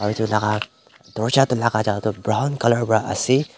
etu laka dorjate lagai thaka toh brown colour ra ase.